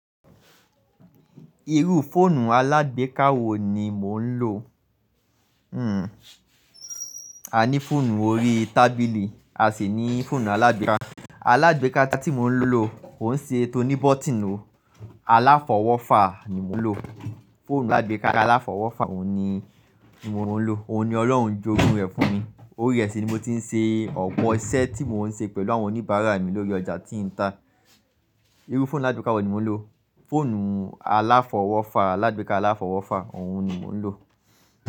Irú fóònù alágbèká wo ni mò ń lò? A ní fóònù orí tábìlì, a sì ní fóònù alágbèká. Alágbèká ta tí mò ń lò, òún ṣe tó ní bọ́tìn o. Aláfọwọ́fà ni mò ń lò. Fóònù alágbèká aláfọwọ́fà òun ni mò ń lò. Òún ni Ọlọ́run jó ogún rẹ̀ fún mi. Orí re sì ni mo ti n ṣe ọ̀pọ̀ iṣẹ́ tí mò ń ṣe pẹ̀lú àwọn oníbàárà mi lórí ọjà tí nta. Irú fóònù alágbèká wo ni mò ń lò? Fóònù aláfọwọ́fà, alágbèká aláfọwọ́fà, òun ni mò ń lò.